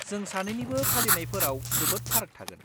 जों सानैनिबो फालिनायफोराव जोबोद फाराग थागोन।